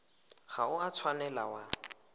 ga o a tshwanela wa